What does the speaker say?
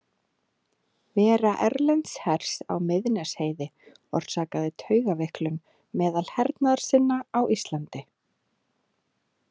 Vera erlends hers á Miðnesheiði orsakaði taugaveiklun meðal hernaðarsinna á Íslandi.